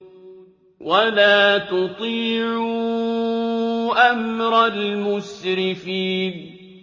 وَلَا تُطِيعُوا أَمْرَ الْمُسْرِفِينَ